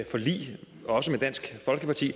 forlig også med dansk folkeparti